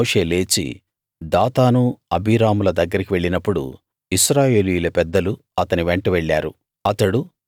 అప్పుడు మోషే లేచి దాతాను అబీరాముల దగ్గరికి వెళ్ళినప్పుడు ఇశ్రాయేలీయుల పెద్దలు అతని వెంట వెళ్ళారు